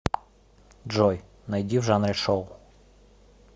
джой найди в жанре шоу